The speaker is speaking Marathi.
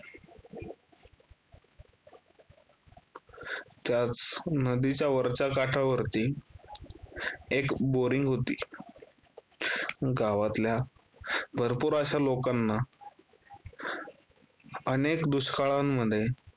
त्याच नदीच्या वरच्या काठावरती एक boaring होती. गावातल्या भरपूर अश्या लोकांना अनेक दुष्काळांमध्ये